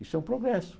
Isso é um progresso.